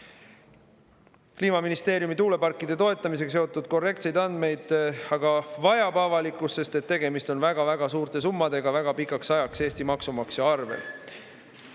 Korrektseid andmeid Kliimaministeeriumi poolt tuuleparkide toetamise kohta aga avalikkus vajab, sest tegemist on väga suurte summadega väga pikaks ajaks Eesti maksumaksja arvel.